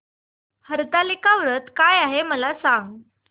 हरतालिका व्रत काय आहे मला सांग